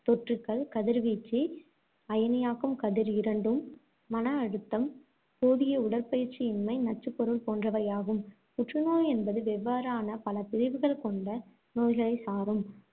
தொற்றுக்கள், கதிர்வீச்சு அயனியாக்கும் கதிர் இரண்டும், மன அழுத்தம், போதிய உடற்பயிற்சி இன்மை, நச்சுப்பொருள் போன்றவையாகும். புற்றுநோய் என்பது வெவ்வேறான பலபிரிவுகள் கொண்ட நோய்களை சாரும்.